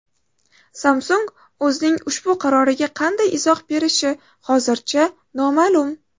Samsung o‘zining ushbu qaroriga qanday izoh berishi hozircha noma’lum.